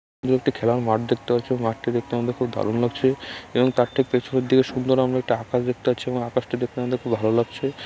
একটি খেলার মাঠ দেখতে পাচ্ছি এবং মাঠটি দেখতে আমাদের খুব দারুণ লাগছে এবং তার ঠিক থেকে পেছনের দিকে সুন্দর আমরা একটা আকাশ দেখতে পাচ্ছিএবং আকাশটি দেখতে আমাদের খুব ভালো লাগছে।